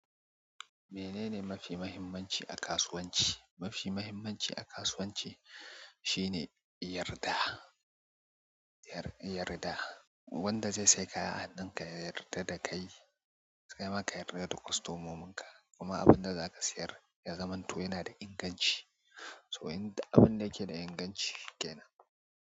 Me nene mafi muhimmanci a kasuwanci? Mafi muhimmanci a kasuwanci shi ne yarda, yarda. Wanda zai saya kaya a hannunka ya yarda da kai, kai ma ka yarda da kwastomomin ka. Kuma abin da zaka siyar ya zamanto yana da inganci. To, in abin da yake da inganci kenan.